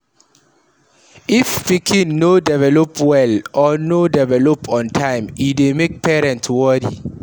If pikin no develop well or no develop on time e dey make parent worry